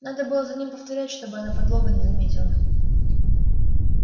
надо было за ним повторять чтобы она подлога не заметила